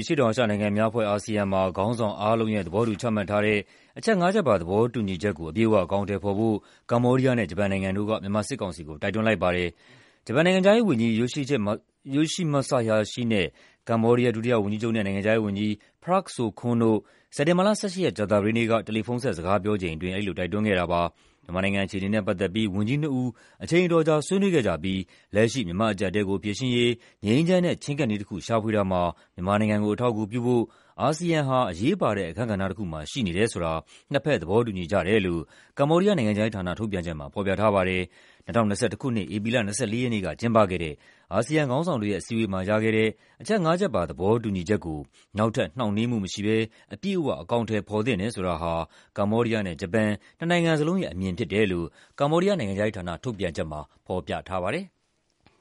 အရှေ့တောင်အာရှနိုင်ငံများအဖွဲ့ (ASEAN) မှာ ခေါင်းဆောင်အားလုံးရဲ့ သဘောတူချမှတ်ထားတဲ့ အချက်ငါးချက်ပါ သဘောတူညီချက်ကို အပြည့်အဝ အကောင်အထည်ဖော်ဖို့ ကမ္ဘောဒီးယားနဲ့ ဂျပန်နိုင်ငံတို့က မြန်မာစစ်ကောင်စီကို တိုက်တွန်းလိုက်ပါတယ်။ ဂျပန်နိုင်ငံခြားရေးဝန်ကြီး Yoshimasa Hayashi နဲ့ ကမ္ဘောဒီးယား ဒုတိယဝန်ကြီးချုပ်နဲ့ နိုင်ငံခြားရေးဝန်ကြီး Prak Sokhonn တို့ စက်တင်ဘာလ ၁၈ ရက်၊ ကြာသပတေးနေ့က တယ်လီဖုန်းဆက် စကားပြောချိန်အတွင်း အဲဒီလို တိုက်တွန်းခဲ့တာပါ။ မြန်မာနိုင်ငံအခြေအနေနဲ့ ပတ်သက်ပြီး ဝန်ကြီးနှစ်ဦး အချိန်အတော်ကြာ ဆွေးနွေးခဲ့ကြပြီး လက်ရှိ မြန်မာ့အကျပ်အတည်ကိုဖြေရှင်းရေး ငြိမ်းချမ်းတဲ့ ချဉ်းကပ်နည်းတခု ရှာဖွေတာမှာ မြန်မာနိုင်ငံကို အထောက်အကူပြုဖို့ အာဆီယံဟာ အရေးပါတဲ့အခန်းကဏ္ဍတခုမှာ ရှိနေတယ်ဆိုတာ နှစ်ဘက် သဘောတူညီကြတယ်လို့ ကမ္ဘောဒီးယားနိုင်ငံခြားရေးဌာန ထုတ်ပြန်ချက်မှာ ဖော်ပြထားပါတယ်။ ၂၀၂၁ ခုနှစ်၊ ဧပြီလ ၂၄ က်နေ့က ကျင်းပခဲ့တဲ့ "အာဆီယံခေါင်းဆောင်တွေရဲ့ အစည်းအဝေးမှာ ရခဲ့တဲ့ အချက်ငါးချက်ပါ သဘောတူညီချက်ကို နောက်ထပ် နှောင့်နှေးမှုမရှိဘဲ အပြည့်အဝ အကောင်အထည်ဖော်သင့်တယ်" ဆိုတာဟာ ကမ္ဘောဒီးယားနဲ့ ဂျပန် နှစ်နိုင်ငံစလုံးရဲ့အမြင်ဖြစ်တယ်လို့ ကမ္ဘောဒီးယားနိုင်ငံခြားရေးဌာန ထုတ်ပြန်ချက်မှာ ဖော်ပြထားပါတယ်။